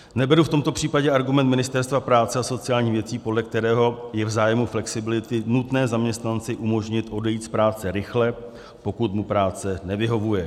Neberu v tomto případě argument Ministerstva práce a sociálních věcí, podle kterého je v zájmu flexibility nutné zaměstnanci umožnit odejít z práce rychle, pokud mu práce nevyhovuje.